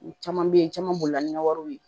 U caman bɛ yen caman bolila ni nka wariw ye